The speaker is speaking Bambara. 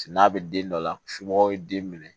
N'a bɛ den dɔ la somɔgɔw ye den minɛ